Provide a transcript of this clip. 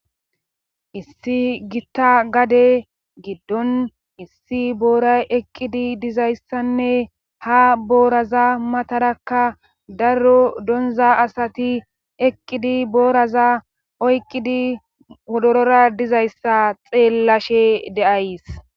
issi gitta gade giddon issi booray eqqidi dizayssanne ha booraza matarakka darro donza asati eqqidi booraza oyqqidi wodorora dizayssa xeellashe de7ays